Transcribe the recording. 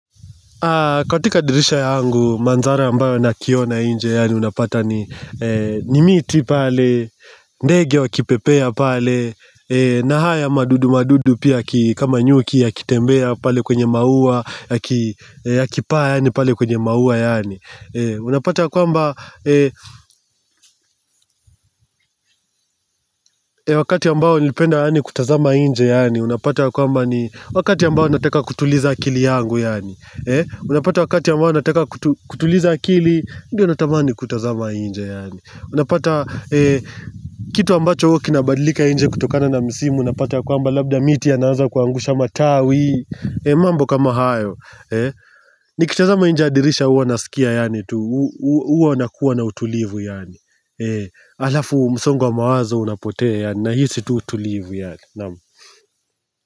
Katika dirisha yangu mandhara ambayo nakiona inje yaani unapata ni ni miti pale, ndege wakipepea pale, na haya madudu madudu pia ki kama nyuki yakitembea pale kwenye maua, yaki yakipaa yaani pale kwenye maua yaani. Unapata kwamba wakati ambao nilipenda yaani kutazama inje yaani unapata kwamba ni wakati ambayo nataka kutuliza akili yangu yaani Unapata wakati ambayo nataka kutu kutuliza akili ndiyo natamani kutazama inje yaani. Unapata kitu ambacho huwa kinabadilika inje kutokana na misimu unapata kwamba labda miti yanaanza kuangusha matawi mambo kama hayo. Nikitazama inje ya dirisha huwa nasikia yaani tu, huwa nakuwa na utulivu yaani. Halafu msongo wa mawazo unapotea yaani. Nahisi tu utulivu yaani, naam.